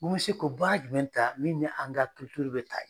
Ko n bɛ se ko baara jumɛn ta min ni an ka bɛ taa.